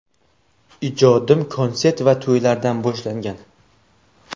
Ijodim konsert va to‘ylardan boshlangan.